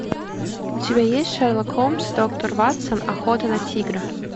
у тебя есть шерлок холмс и доктор ватсон охота на тигра